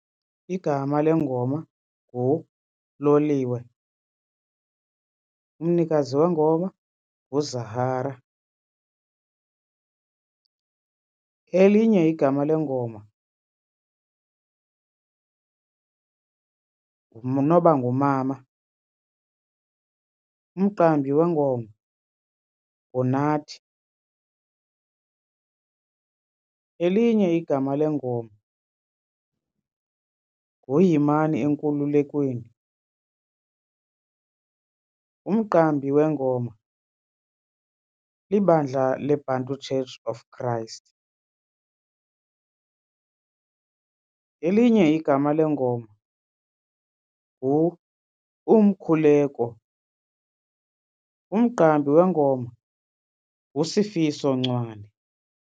Igama lengoma nguLoliwe umnikazi wengoma nguZahara. Elinye igama lengoma nguNoba Ngumama umqambi wengoma nguNathi. Elinye igama lengoma nguYimani Enkululekweni umqambi wengoma libandla leBantu Church of Christ. Elinye igama lengoma ngu-Umkhuleko umqambi wengoma nguSifiso Ncwane.